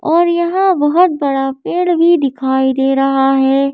और यहां बहुत बड़ा पेड़ भी दिखाई दे रहा है।